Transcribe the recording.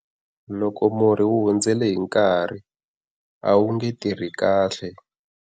Loko murhi wu hundzele hi nkarhi a wu nge tirhi kahle.